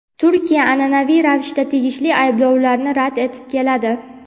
Turkiya an’anaviy ravishda tegishli ayblovlarni rad etib keladi.